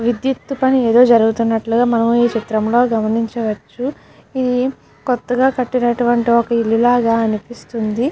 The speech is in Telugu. విద్యుత్తు పని ఏదో జరుగుతున్నట్లుగా మనం చిత్రంలో గమనించవచ్చు ఇది కొత్తగా కట్టినటువంటి ఒక ఇల్లు లాగా అనిపిస్తుంది.